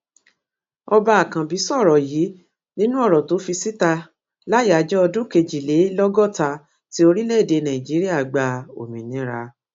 ọba akànbí sọrọ yìí nínú ọrọ tó fi síta láyàájọ ọdún kejìlélọgọta ti orílẹèdè nàíjíríà gba òmìnira